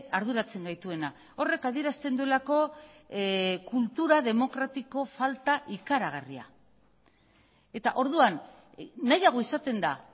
arduratzen gaituena horrek adierazten duelako kultura demokratiko falta ikaragarria eta orduan nahiago izaten da